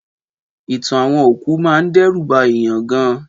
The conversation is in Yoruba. Ìtàn àwọn òkú máa ń dẹ́rù ba èèyàn gan